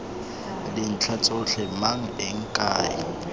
dintlha tsotlhe mang eng kae